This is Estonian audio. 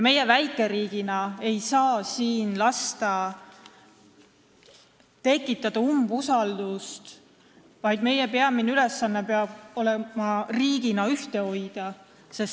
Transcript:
Väikeriik ei saa lasta umbusaldusel tekkida, meie peamine ülesanne peab olema riigina ühte hoida.